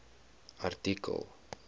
artikel